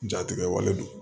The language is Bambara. Jatigɛwale don